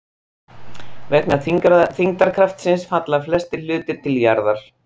Vegna þyngdarkraftsins falla flestir hlutir til jarðar.